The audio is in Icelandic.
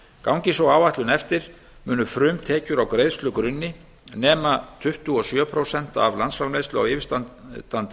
gangi sú áætlun eftir munu frumtekjur á greiðslugrunni nema tuttugu og sjö prósent af landsframleiðslu á yfirstandandi